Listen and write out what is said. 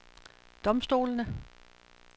domstolene